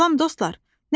Salam dostlar.